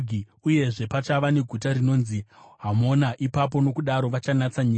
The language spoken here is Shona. Uyezve, pachava neguta rinonzi Hamona ipapo. Nokudaro vachanatsa nyika.’